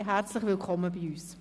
Herzlich willkommen bei uns!